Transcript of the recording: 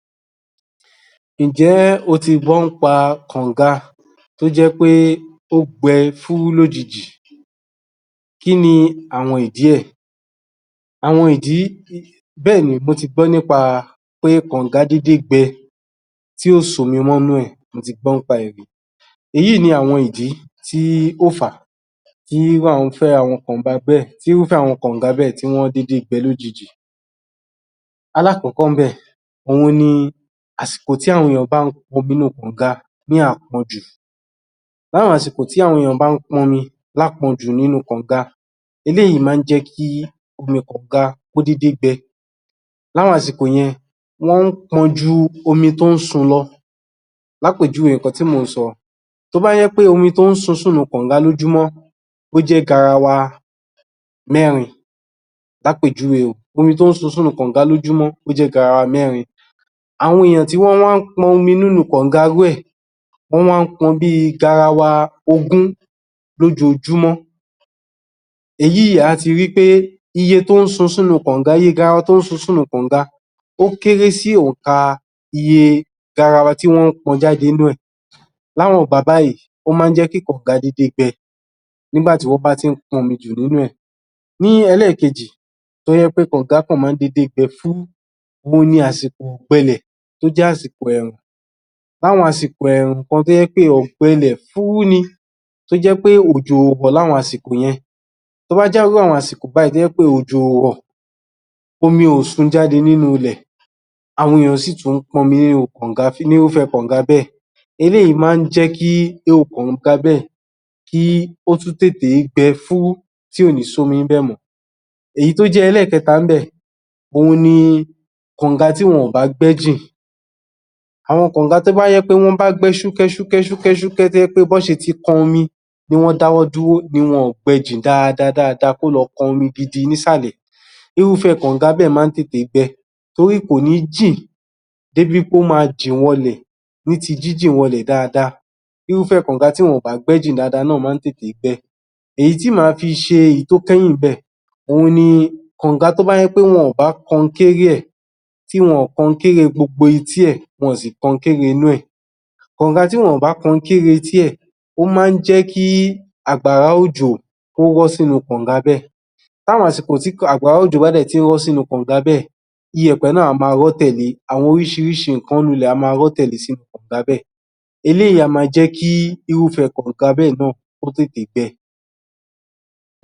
Ǹjẹ́ o ti gbọ́ nípa kànga tó jẹ́ pé ó gbẹ fúrú lójijì kí ni àwọn ìdí ẹ̀? àwọn ìdí Bẹ́ẹ̀ni, mo ti gbọ́ nípa kànga dédé gbẹ tí kò sí omi mọ́ nínú ẹ̀, mo ti gbọ́ nípa ẹ̀ rí Èyí ni àwọn ìdí tí ó fà á tí irúfẹ́ àwọn kànga bẹ́ẹ̀ tí wọ́n dédé gbẹ lójijì alákọ̀kọ́ níbẹ̀ òun ni àsìkò tií àwọn ènìyàn bá ń pọn omi nínú kànga ní àpọnjù láwọn àsìkò tí àwọn ènìyàn bá ń pọn omi lápọnjù nínú kànga eléyìí máa ń jẹ́ kí omi kànga kó dédé gbẹ láwọn àsìkò yẹn wọ́n ń pọn ju omi tó ń sun lọ lápèjúwe nǹkan tí mò ń sọ tó bá jẹ́ pé omi tó ń sun sínú kànga lójúmọ́ ó jẹ́ garawa mẹ́rin lápèjúwe o, omi tó ń sun sínú kànga ó jẹ́ garawa mẹ́rin àwọn èèyàn tí wọ́n wá ń pọn omi nínú kànga irú ẹ̀ wọ́n wá ń pọn bíi garawa ogún lóójojúmọ́ èyí, à á ti ri wí pé iye garawa tó ń sun síhnú kànga ó kéré sí òǹkà iye garawa tí wọ́n ń pọn jáde nínú ẹ̀ láwọn ìgbà báyìí ó máa ń jẹ́ kí kànga dédé gbẹ nígbà tí wọ́n bá ti ń pọnmi jù nínú ẹ̀ Ní ẹlẹ́ẹ̀kejì tó jẹ́ pé kànga kàn máa ń dédé gbẹ fúúrú òun ni àsìkò ọ̀gbẹlẹ̀ tó jẹ́ àsìkò ẹ̀ẹ̀rùn láwọn àsìkò ẹ̀ẹ̀rùn kan tó jẹ́ pé ọ̀gbẹlẹ̀ fúúrú ni tó jẹ́ pé òjò ò rọ̀ láwọn àsìkò yẹn tó bá jẹ́ irú àwọn àsìkò báyìí tó jẹ́ pé òjò ò rọ̀ omi ò sun jáde nínú ilẹ̀ àwọn èèyàn sì tún pọn omi nínú irúfẹ́ kànga bẹ́ẹ̀ eléyìí máa ń jẹ́ kí irú kànga bẹ́ẹ̀ kí ó tún tètè gbẹ fúrú tí kò ní sí omi níbẹ̀ mọ́ èyí tó jẹ́ ẹlẹ́ẹ̀kẹta níbẹ̀, òun ni kànga tí wọn ò bá gbẹ́ jìn àwọn kànga tó bá jẹ́ pé wọ́n bá gbẹ́ ṣúkẹ́ṣúkẹ́ṣúkẹ́ṣúkẹ́ tó jẹ́ wí pé bí wọ́n ṣe ti kan omi ni wọ́n dáwọ́ dúró ni wọn ò gbẹ jìn dáadáa kó lọ kan omi gidi nísàlẹ̀ irúfẹ́ kànga bẹ́ẹ̀ máa ń tètè gbẹ torí kò ní jìn dé bi wí pé ó máa jìn wọlẹ̀ ní ti jínjìn wọlẹ̀ dáadáa irúfẹ́ kànga tí wọn ò bá gbẹ́ jìn náà máa ń tètè gbẹ Èyí tí màá fi ṣe èyí tó kẹ́yìn níbẹ̀ òun ni kànga tó bá jẹ́ pé wọn ò bá kọnkéré ẹ̀ tí wọn ò kọnkéré gbogbo etí ẹ̀ wọn ò sì kọnkéré inú ẹ̀ kànga tí wọn ò bá kọnkéré etí ẹ̀ ó máa ń jẹ́ kí àgbàrá òjò kó rọ́ sínú ká̀nga bẹ́ẹ̀ láwọn àsìkò tí àgbàrá òjò bá dẹ̀ tí ń rọ́ sínú kànga bẹ́ẹ̀ iyẹ̀pẹ̀ náà á máa rọ́ tẹ̀le, àwọn oríṣiríṣi nǹkan nínú ilẹ̀ á máa rọ́ tẹ̀lé sínú kànga bẹ́ẹ̀ eléyìí á máa jẹ́ kí irúfẹ́ kànga bẹ́ẹ̀ náà kó tètè gbẹ